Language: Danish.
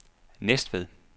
Næstved